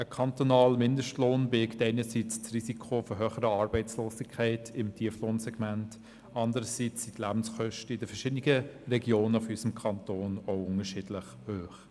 Ein kantonaler Mindestlohn birgt einerseits das Risiko von höherer Arbeitslosigkeit im Tieflohnsegment, andererseits sind die Lebenskosten in den verschiedenen Regionen unseres Kantons auch unterschiedlich hoch.